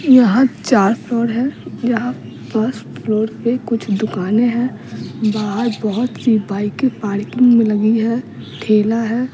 यहाँ चार फ्लोर है यहाँ फर्स्ट फ्लोर पे कुछ दुकानें हैं बाहर बहुत सी बाइके पार्किंग में लगी है ठेला है।